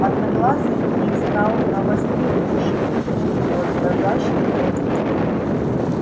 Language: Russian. одноглазый привстал навострил уши и вытянул хвост дрожащий от волнения